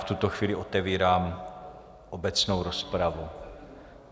V tuto chvíli otevírám obecnou rozpravu.